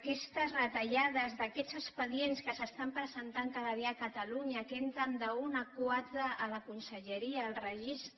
aquestes retallades d’aquests expedients que s’estan presentant cada dia a catalunya que entren d’un a quatre a la conselleria al registre